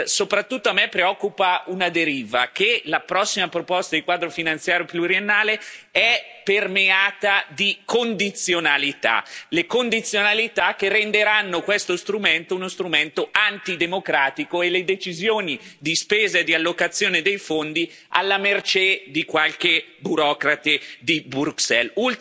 Soprattutto a me preoccupa una deriva, è cioè il fatto che la prossima proposta di Quadro finanziario pluriennale è permeata di condizionalità, condizionalità che renderanno questo strumento uno strumento antidemocratico e metteranno le decisioni di spesa e di allocazione dei fondi alla mercé di qualche burocrate di Bruxelles.